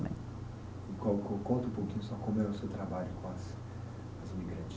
Conta um pouquinho só como é o seu trabalho com as as